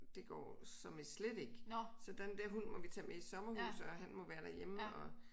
Det går som i slet ikke så den dér hund må vi tage med i sommerhus og han må være derhjemme og